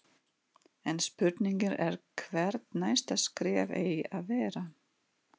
En spurningin er hvert næsta skref eigi að vera?